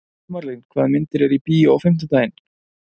Sumarlín, hvaða myndir eru í bíó á fimmtudaginn?